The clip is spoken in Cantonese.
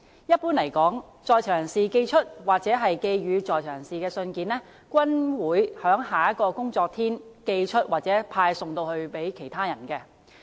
一般而言，在囚人士寄出或寄予在囚人士的信件均會在下一個工作天寄出或派送給在囚人士。